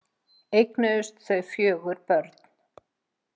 Eignuðust þau fjögur börn.